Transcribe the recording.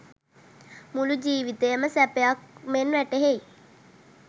මුළු ජීවිතයම සැපයක් මෙන් වැටහෙයි.